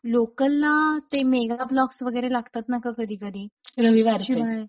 local ना ते mega blocks वगैरे लागतात ना गं कधीकधी रविवारचे रविवारची वेळ